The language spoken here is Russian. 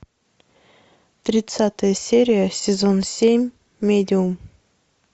тридцатая серия сезон семь медиум